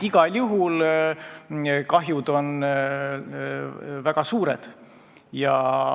Igal juhul on kahjud väga suured.